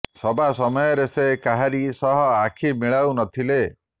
ସଭା ସମୟରେ ସେ କାହାରି ସହ ଆଖି ମିଳାଉ ନ ଥିଲେ